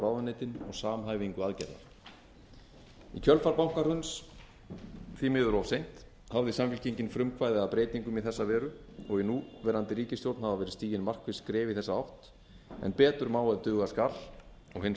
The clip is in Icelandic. ráðuneytin og samhæfingu aðgerða í kjölfar bankahruns því miður of seint hafði samfylkingin frumkvæði að breytingum í þessa veru og í núverandi ríkisstjórn hafa verið stigin markviss skref í þessa átt en betur má ef duga skal og hin